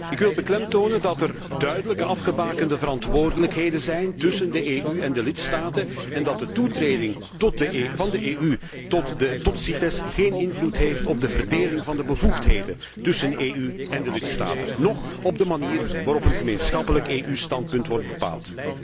Ik wil beklemtonen dat er duidelijk afgebakende verantwoordelijkheden zijn tussen de EU en de lidstaten en dat de toetreding van de EU tot CITES geen invloed heeft op de verdeling van de bevoegdheden tussen de EU en de lidstaten, noch op de manier waarop een gemeenschappelijk EU standpunt wordt bepaald.